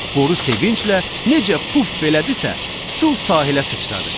Boru sevinclə necə puf elədisə, su sahilə sıçradı.